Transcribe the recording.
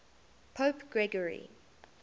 pope gregory